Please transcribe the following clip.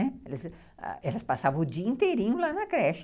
Elas eles passavam o dia inteirinho lá na creche.